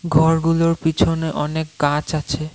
ঘরগুলোর পিছনে অনেক গাছ আছে।